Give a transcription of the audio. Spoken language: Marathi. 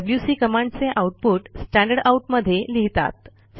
डब्ल्यूसी कमांडचे आऊटपुट स्टँडरडाउट मध्ये लिहितात